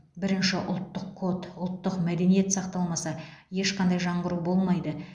бірінші ұлттық код ұлттық мәдениет сақталмаса ешқандай жаңғыру болмайды